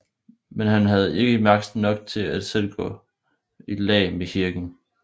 Men han havde ike magt nok at selv gå i lag med kirken